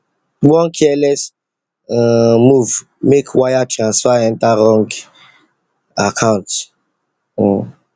one careless um move make wire transfer enter wrong account um